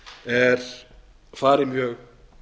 er farið mjög